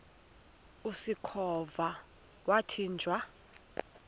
usikhova yathinjw a